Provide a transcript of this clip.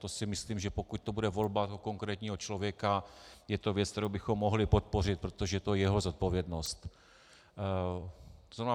To si myslím, že pokud to bude volba konkrétního člověka, je to věc, kterou bychom mohli podpořit, protože to je jeho zodpovědnost.